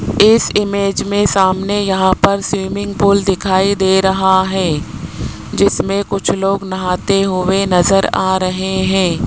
इस इमेज में सामने यहां पर स्विमिंग पूल दिखाई दे रहा है जिसमें कुछ लोग नहाते हुए नजर आ रहे हैं।